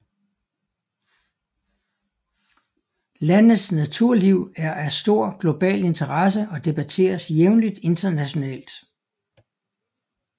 Landets naturliv er af stor global interesse og debatteres jævnligt internationalt